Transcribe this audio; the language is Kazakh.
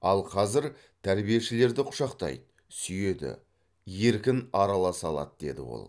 ал қазір тәрбиешілерді құшақтайды сүйеді еркін араласа алады деді ол